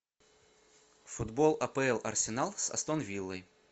футбол апл арсенал с астон виллой